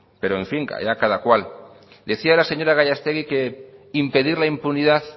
pero en fin allá cada cual decía la señora gallastegui que impedir la impunidad